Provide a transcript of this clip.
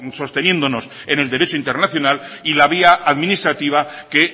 sosteniéndonos en el derecho internacional y la vía administrativa que